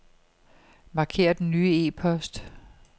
Marker den nye e-post.